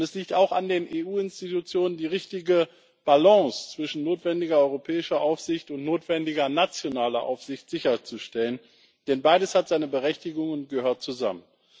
Es liegt auch an den EU Institutionen, die richtige Balance zwischen notwendiger europäischer Aufsicht und notwendiger nationaler Aufsicht sicherzustellen, denn beides hat seine Berechtigung und gehört zusammen.